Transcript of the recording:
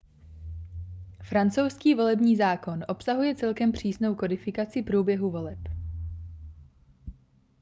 francouzský volební zákon obsahuje celkem přísnou kodifikaci průběhu voleb